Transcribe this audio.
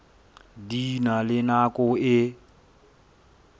di na le nako e